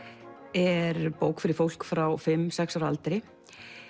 er bók fyrir fólk frá fimm til sex ára aldri